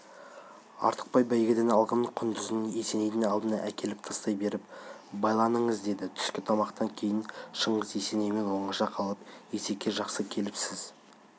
артықбай бәйгеден алған құндызын есенейдің алдына әкеліп тастай беріп байланыңыз деді түскі тамақтан кейін шыңғыс есенеймен оңаша қалып есеке жақсы келіпсіз